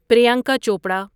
Priyanka Chopra